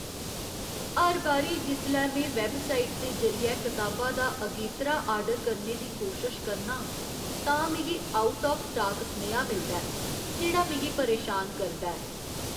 हर बारी जिसलै में वैबसाइट दे जरि'यै कताबा दा अगेतरा आर्डर करने दी कोशश करनां, तां मिगी आउट आफ स्टाक सनेहा मिलदा ऐ, जेह्ड़ा मिगी परेशान करदा ऐ।